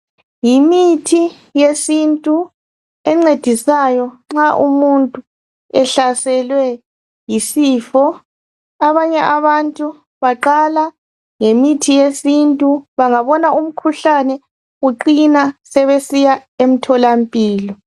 Yimithi yesintu encedisayo nxa umuntu ehlaselwe yisifo, abanye abantu baqala ngemithi yesintu bangabona umkhuhlane uqina sebesiya emtholampilo.